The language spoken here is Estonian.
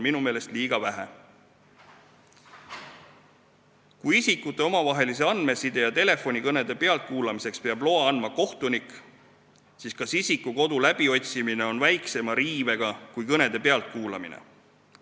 Kui isikute omavahelise andmeside ja telefonikõnede pealtkuulamiseks peab loa andma kohtunik, siis kas isiku kodu läbiotsimine on väiksem õiguste riive kui kõnede pealtkuulamine?